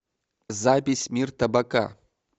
запись мир табака